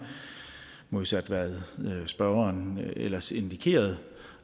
modsat hvad medspørgeren ellers indikerede